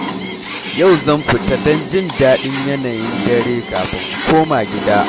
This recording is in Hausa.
Yau zan fita don jin daɗin yanayin dare kafin in koma gida.